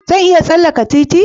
Zan iya tsallaka titi?